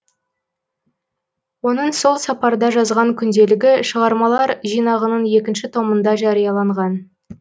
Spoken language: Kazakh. оның сол сапарда жазған күнделігі шығармалар жинағының екінші томында жарияланған